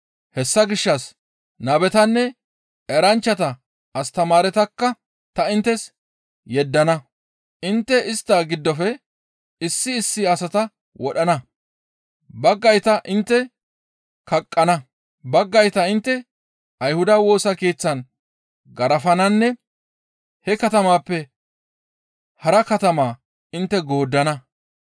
Hessa gishshas nabetanne eranchchata astamaaretakka ta inttes yeddana. Intte istta giddofe issi issi asata wodhana. Baggayta intte kaqqana; baggayta intte Ayhuda Woosa Keeththan garafananne he katamappe hara katama intte gooddana.